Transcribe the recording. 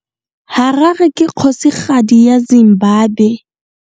Harare ke kgosigadi ya Zimbabwe.